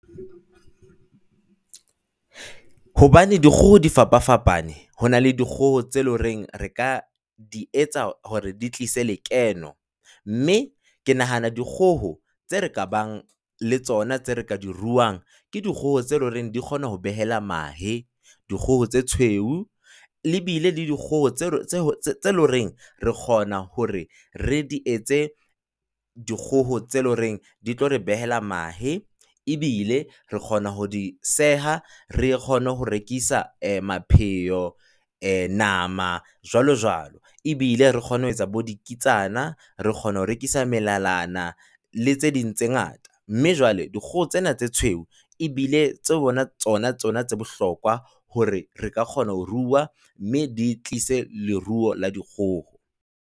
Hobane dikgoho di fapafapane ho na le dikgoho tseo e leng hore re ka di etsa hore di tlise lekeno mme ke nahana dikgoho tseo re ka bang le tsona tseo re ka di ruang, ke dikgoho tseo e leng hore di kgona ho behela mahe. Dikgoho tse tshweu e bile le dikgoho tseo e leng hore re kgona hore re di etse dikgoho tseo e leng hore di tlo re behela mahe ebile re kgona ho di seha re kgone ho rekisa eh mapheo, nama, jwalojwalo, ebile re kgone ho etsa bodikitsana. Re kgona ho rekisa melalana le tse ding tse ngata, mme jwale dikgoho tsena tse tshweu ebile tsona tsona tsona tse bohlokwa hore re ka kgona ho rua, mme di tlise leruo la dikgoho.